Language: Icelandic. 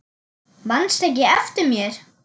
Manstu ekki eftir mér?